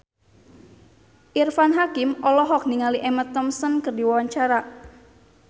Irfan Hakim olohok ningali Emma Thompson keur diwawancara